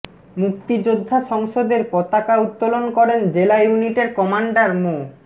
মুক্তিযোদ্ধা সংসদের পতাকা উত্তোলন করেন জেলা ইউনিটের কমাণ্ডার মো